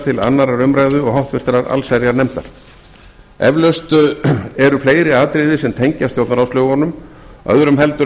til annarrar umræðu og háttvirtrar allsherjarnefndar eflaust eru fleiri atriði sem tengjast stjórnarráðslögunum öðrum heldur